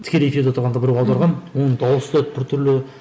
тікелей эфирде отырғанда біреу аударған оның дауысы бір түрлі